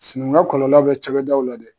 Sinankunya kɔlɔlɔ bɛ cakɛdaw la dɛ.